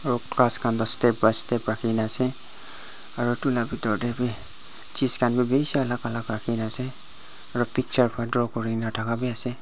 aro glass khan toh step by step rakhikaena ase aro edu la bitor tae chis khan bi bishi alak alak rakhikaena ase aro picture khan draw kurina thaka biase.